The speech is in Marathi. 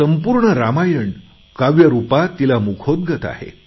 संपूर्ण रामायण काव्य रुपात तिला मुखोद्गत आहे